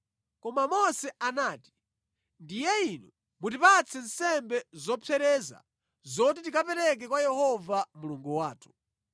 Koma Mose anati, “Ndiye inu mutipatse nsembe zopsereza zoti tikapereke kwa Yehova Mulungu wathu.